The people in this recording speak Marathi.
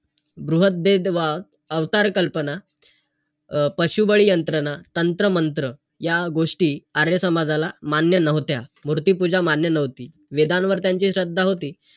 जर तुझ्या मध्ये असेल तर तू शिकू शकतोस .